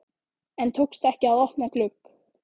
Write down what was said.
En tókst ekki að opna glugg